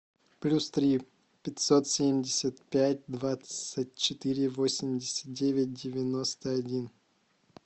плюс три пятьсот семьдесят пять двадцать четыре восемьдесят девять девяносто один